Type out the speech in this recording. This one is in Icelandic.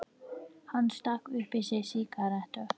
Hann stakk upp í sig sígarettu.